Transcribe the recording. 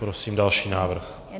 Prosím další návrh.